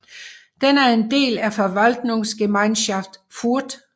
Den er del af Verwaltungsgemeinschaft Furth